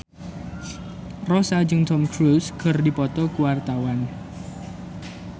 Rossa jeung Tom Cruise keur dipoto ku wartawan